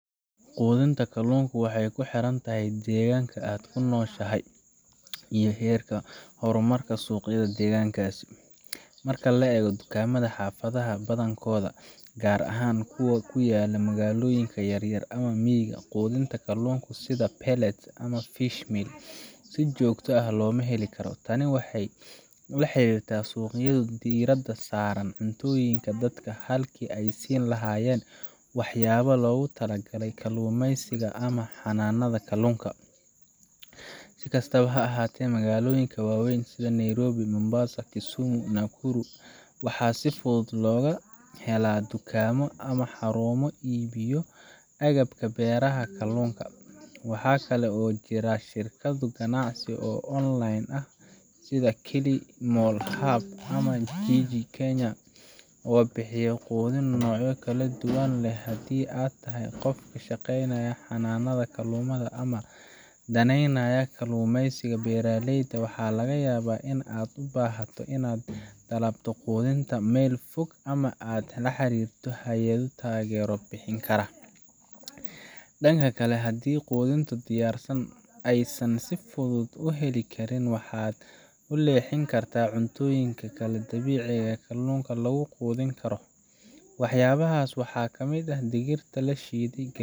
Quudinta kalluunka waxay ku xiran tahay deegaanka aad ku nooshahay iyo heerka horumarka suuqyada deegaankaas. Marka la eego dukaamada xaafadaha badankooda, gaar ahaan kuwa ku yaalla magaalooyinka yaryar ama miyiga, quudinta kalluunka sida pellets ama fish meal si joogto ah looma heli karo. Tani waxay la xiriirtaa in suuqyadu diiradda saaraan cuntooyinka dadka halkii ay ka siin lahaayeen waxyaabaha loogu tala galay kalluumeysiga ama xanaanada kalluunka. Si kastaba ha ahaatee, magaalooyinka waaweyn sida Nairobi, Mombasa, Kisumu, iyo Nakuru, waxaa si fudud looga helaa dukaamo ama xarumo iibiyo agabka beeraha kalluunka. Waxa kale oo jira shirkado ganacsi oo online ah sida KilimoHub ama Jiji Kenya oo bixiya quudin noocyo kala duwan leh. Haddii aad tahay qof ka shaqeynaya xanaanada kalluunka ama daneynaya kalluumeysiga beeraleyda, waxaa laga yaabaa in aad u baahato inaad dalbato quudinta meel fog ama aad la xiriirto hay’ado taageero bixin kara. Dhanka kale, haddii quudinta diyaarsan aysan si fudud u heli karin, waxaad u leexan kartaa cuntooyin kale oo dabiici ah oo kalluunka lagu quudin karo. Waxyaabahaas waxaa kamid ah digirta la shiiday, galleyda